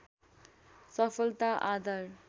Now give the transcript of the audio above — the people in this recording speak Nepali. सफलता आदर